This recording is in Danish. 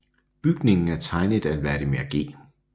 Bygningen er tegnet af Vladimir G